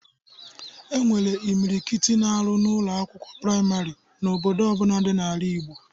E nwere imilikiti na-arụ n'Ụlọ akwụkwọ praịmarị n'obodo ọbụna dị n'ala Igbo